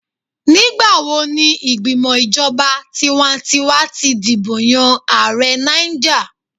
Nigbawo ni igbimọ ijọba tiwantiwa ti dibo yan Aare Niger?